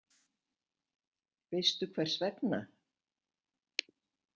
Veistu hvers vegna?